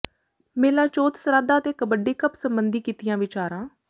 ਮੇਲਾ ਚੋਥ ਸਰਾਧਾ ਤੇ ਕਬੱਡੀ ਕੱਪ ਸਬੰਧੀ ਕੀਤੀਆਂ ਵਿਚਾਰਾਂ